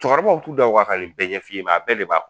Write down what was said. Cɛkɔrɔbaw t'u da waa ka nin bɛɛ ɲɛf'i ye nka a bɛɛ de 'a kɔnɔ!